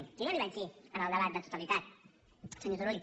jo ja li ho vaig dir en el debat de totalitat senyor turull